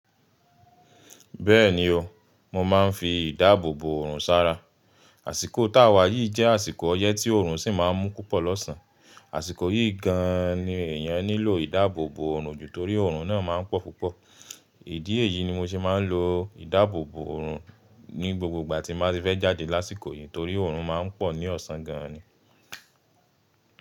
Bẹ́ẹ̀ni o, mo máa ń fi ìdáàbòbò ọrùn sára. Àsìkò táwà yìí jẹ́ àsìkò ọyẹ́ tí ọrùn sì máa ń mú púpọ̀ lọ́sàn. Àsìkò yìí gan an ni èèyàn nílò ìdáàbòbò òrùn ju torí òrùn náà máa ń pọ̀ púpọ̀. Ìdí èyí ni mo ṣe máa ń lo ìdáàbòbò òrùn ní gbogbo ìgbà tí mo bá fẹ́ jáde lásìkò yìí torí òrùn máa ń pọ̀ ní ọ̀sán gan an ni.